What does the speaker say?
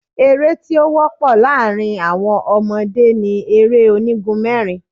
Eré́ tí ó wọ́pọ̀ láàrin àwọn ọmọdé ni eré onígun mẹ́rin.